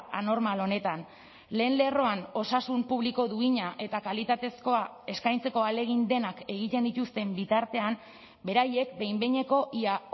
anormal honetan lehen lerroan osasun publiko duina eta kalitatezkoa eskaintzeko ahalegin denak egiten dituzten bitartean beraiek behin behineko ia